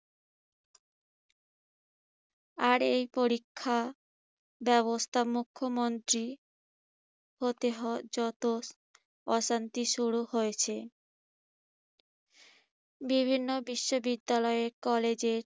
আর এই পরীক্ষা ব্যবস্থা মুখ্যমন্ত্রী হতে~হ যত অশান্তি শুরু হয়েছে বিভিন্ন বিশ্ববিদ্যালয়ে কলেজের